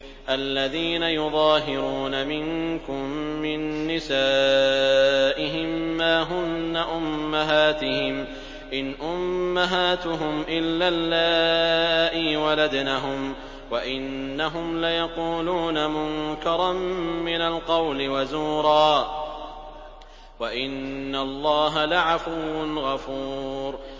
الَّذِينَ يُظَاهِرُونَ مِنكُم مِّن نِّسَائِهِم مَّا هُنَّ أُمَّهَاتِهِمْ ۖ إِنْ أُمَّهَاتُهُمْ إِلَّا اللَّائِي وَلَدْنَهُمْ ۚ وَإِنَّهُمْ لَيَقُولُونَ مُنكَرًا مِّنَ الْقَوْلِ وَزُورًا ۚ وَإِنَّ اللَّهَ لَعَفُوٌّ غَفُورٌ